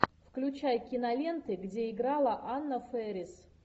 включай киноленты где играла анна фэрис